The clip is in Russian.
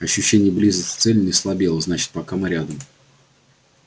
ощущение близости цели не слабело значит пока мы рядом